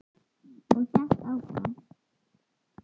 Og hélt áfram: